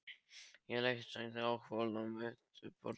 Ég legg steininn á hvolf á mitt borðið.